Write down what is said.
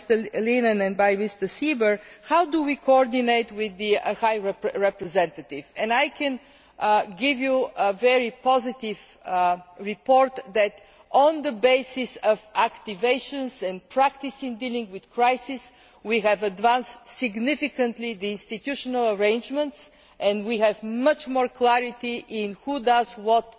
by Mr Leinen and Mr Seeber how we coordinate with the High Representative and I can give you a very positive report that on the basis of activations and practice in dealing with crises we have advanced significantly the institutional arrangements and we have much more clarity in who does